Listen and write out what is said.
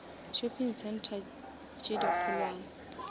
shopping center tše di kgolwane